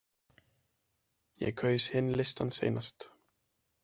Ég kaus hinn listann seinast.